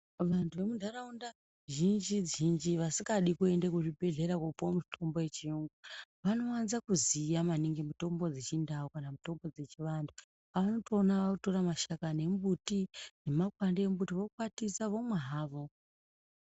Vantu vemuntaraunda zhinji-zhinji vadingadi kuende kuzvibhedhlera koopuwe mutombo yechiyungu vanowanza kuziya maningi mutombo dzechindau kana mutombo dzechiantu anotoona ootore mashakani emumbuti nemakwande emumbuti vokwatisa vomwa havo.